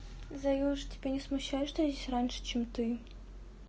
заюша тебя не смущает что я здесь раньше чем ты